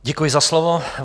Děkuji za slovo.